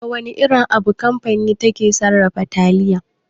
Da wana irin abu kamfani take sarrafa taliya?